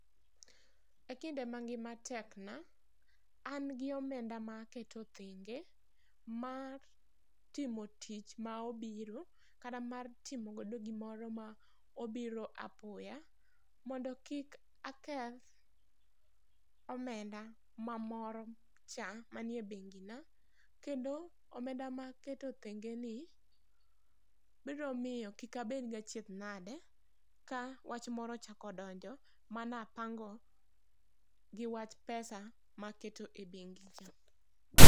E kinde ma ngima tek na, an gi omenda ma aketo thenge mar timo tich ma obiro kata mar timo go gimoro ma obiro apoya, mondo kik aketh omenda ma moro cha ,ma nie bengi na. Kendo omenda ma aketo thenge ni ,biro miyo kik abed gi achiedh nade ka wach moro ochako donjo ma na apango gi wach pesa ma ne aketo e bengi cha.